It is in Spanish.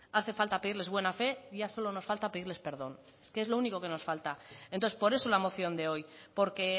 hace falta pedirles buena fe ya solo nos falta pedirles perdón es que es lo único que nos falta entonces por eso la moción de hoy porque